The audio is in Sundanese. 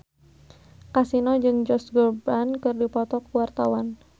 Kasino jeung Josh Groban keur dipoto ku wartawan